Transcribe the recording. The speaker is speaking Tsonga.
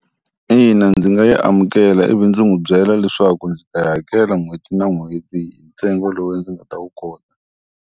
Ina, ndzi nga yi amukela ivi ndzi n'wi byela leswaku ndzi ta yi hakela n'hweti na n'hweti ntsengo lowu ndzi nga ta wu kota.